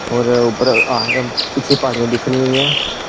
और ऊपर पीछे आध पहाड़ियां दिख रही हुई हैं।